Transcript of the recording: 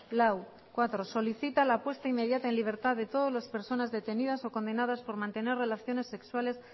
lau cuatro solicita la puesta inmediata en libertad de todas las personas detenidas o condenadas por mantener relaciones sexuales